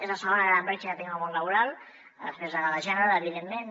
és la segona gran bretxa que tenim al món laboral després de la de gènere evidentment